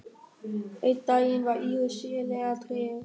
Einn daginn var Íris sérlega treg.